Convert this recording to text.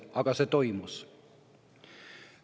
Aga see toimus.